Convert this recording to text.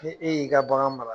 Ni e y'i ka bagan mara